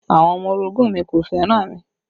Àwọn ọmọ orogun mi kò fẹ́ràn mi